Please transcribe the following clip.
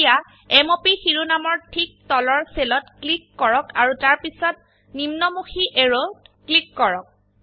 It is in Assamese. এতিয়া m o প শিৰোনাম এৰ ঠিক তলৰ সেল ত ক্লিক কৰক আৰু তাৰপিছত নিম্নমুখী এৰোত ক্লিক কৰক